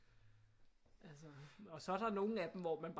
Altså og så er der nogle af dem hvor man bare